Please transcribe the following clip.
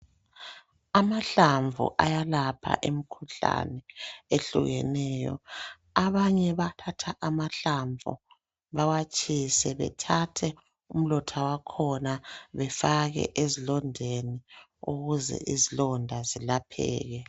Amahlamvu ayalapha imikhuhlane ehloliweyo. Abanye bayathatha amahlamvu bawatshise bethathe umlotha wakhona befake ezilondeni ukuze izilonda zilapheke.